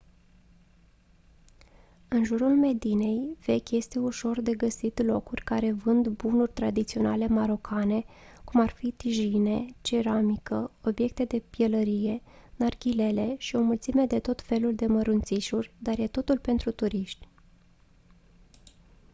în jurul medinei vechi este ușor de găsit locuri care vând bunuri tradiționale marocane cum ar fi tajine ceramică obiecte de pielărie narghilele și o mulțime de tot felul de mărunțișuri dar e totul pentru turiști